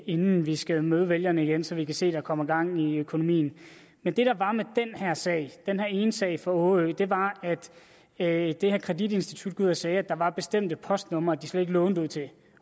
inden vi skal møde vælgerne igen så vi kan se er kommet gang i økonomien men det der var med den her sag den her ene sag fra årø var at det her kreditinstitut gik ud og sagde at der var bestemte postnumre de slet ikke lånte ud til